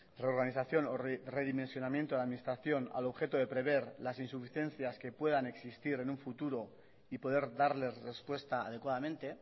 reorganización o redimensionamiento de la administración al objeto de prever las insuficiencias que puedan existir en un futuro y poder darles respuesta adecuadamente